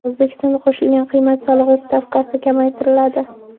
O‘zbekistonda qo‘shilgan qiymat solig‘i stavkasi kamaytiriladi.